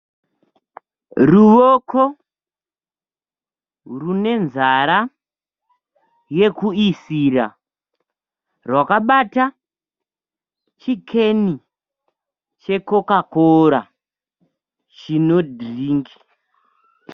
Ruwoko rune nzara yekuisira rwakabata chikeni chekokakora chino dhiringi.